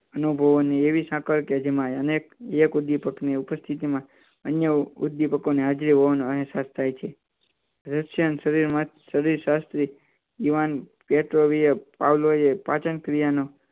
અનુભવવાની એવી સાંકળ કે જેમાં અનેક એક ઉદ્દીપકની ઉપસ્થિતિમાં અન્ય ઉદ્દીપકોની હાજરી હોવાનો અર્થ થાય છે પાચન ક્રિયા નો